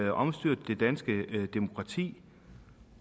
at omstyrte det danske demokrati